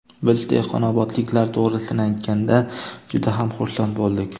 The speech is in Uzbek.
Biz, dehqonobodliklar, to‘g‘risini aytganda, juda ham xursand bo‘ldik.